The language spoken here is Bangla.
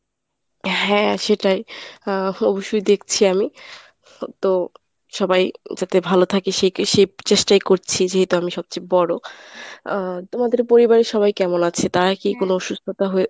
হ্যাঁ সেটাই। আহ অবশ্যই দেখছি আমি তো সবাই যাতে ভালো থাকে সে চেষ্টাই করছি যেহেতু আমি সবচেয়ে বড়। আহ তোমাদের পরিবারে সবাই কেমন আছে তারা কী কোনো অসুস্থতা হয়েছে?